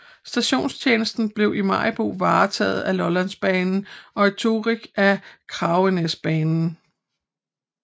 Stationstjenesten blev i Maribo varetaget af Lollandsbanen og i Torrig af Kragenæsbanen